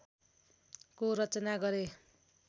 को रचना गरे